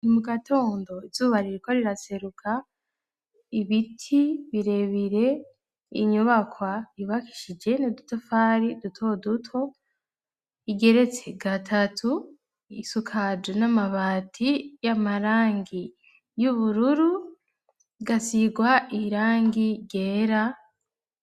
Ni mu gatondo ibzuba ririko riraseruka ibiti birebire inyobakwa ibakishije ni dutafari duto duto igeretse gatatu isukaju n'amabati y'amarangi y'ubururu gasigwa irangi ryera.